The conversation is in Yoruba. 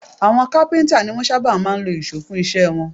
Àwọn kápíntà ni wọ́n sábà máa ń lo ìṣó fún iṣẹ́ wọn